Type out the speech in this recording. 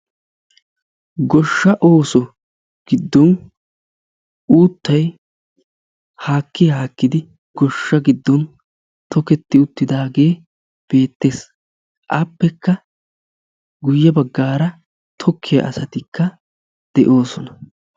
Goshsha ooso giddon uuttay haakki haakkidi goshsha giddon toketti uttidaagee beettees. Appekka guyye baggaara tokkiya asatikka de'oosona.